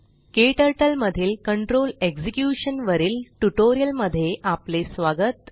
KTurtleमधील control execution वरील tutorial मध्ये आपले स्वागत